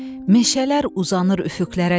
Meşələr uzanır üfüqlərəcən.